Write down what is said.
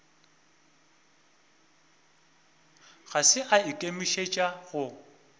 ga se a ikemišetša go